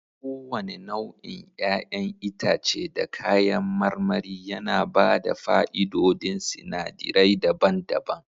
Kowane nau'in 'ya'yan itace da kayan marmari yana ba da fa'idodin sinadirai daban-daban